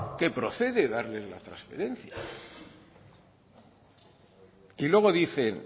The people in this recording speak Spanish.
que procede darle la transferencia y luego dicen